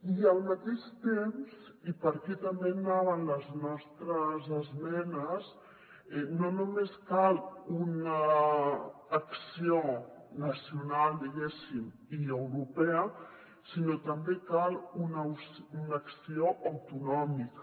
i al mateix temps i per aquí també anaven les nostres esmenes no només cal una acció nacional diguéssim i europea sinó també cal una acció autonòmica